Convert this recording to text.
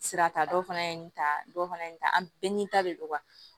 Sira ta dɔ fana ye nin ta dɔ fana ye nin ta an bɛɛ ni ta de don